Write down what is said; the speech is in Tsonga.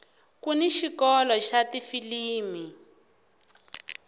kuni xikolo xa tifilimi